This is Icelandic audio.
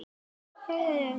Íbúar eru tæplega tíu þúsund.